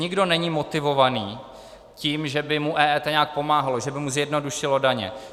Nikdo není motivovaný tím, že by mu EET nějak pomáhalo, že by mu zjednodušilo daně.